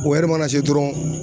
O ɛri mana se dɔrɔn